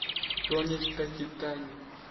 тони такитани